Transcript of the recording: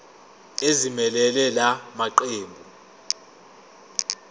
ezimelele la maqembu